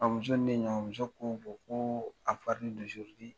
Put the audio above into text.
Ɔn muso ni ne ye ɲɔgɔn ye , muso ko ko